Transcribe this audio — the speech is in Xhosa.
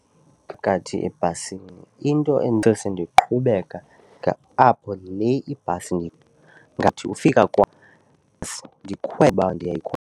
Phakathi ebhasini into endisose ndiqhubeka apho le ibhasi ngathi ukufika kwam ndikhwele uba .